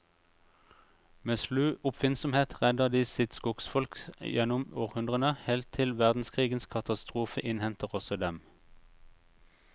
Med slu oppfinnsomhet redder de sitt skogsfolk gjennom århundrene, helt til verdenskrigens katastrofe innhenter også dem.